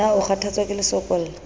na o kgathatswa ke lesokolla